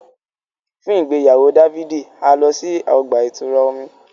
Fun igbeyawo Dafidi, a lọ si ọgba-itura omí